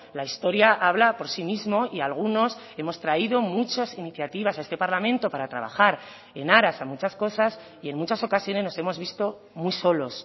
la historia habla por sí mismo y algunos hemos traído muchas iniciativas a este parlamento para trabajar en aras a muchas cosas y en muchas ocasiones nos hemos visto muy solos